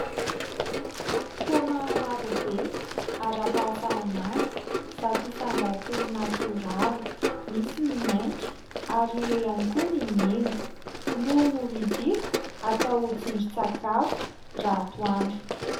Paoma marobe ara-pahasalamana, zato isan-jato natoraly. Misy ny maitso, ary eo ihany koa ny mena no novidiko atao tsindrin-tsakafo ratoandro.